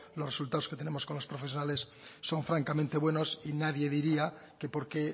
los resultados que tenemos con los profesionales son francamente buenos y nadie diría que porque